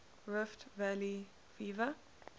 rift valley fever